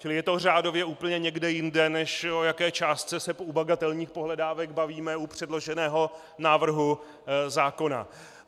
Čili je to řádově úplně někde jinde, než o jaké částce se u bagatelních pohledávek bavíme u předloženého návrhu zákona.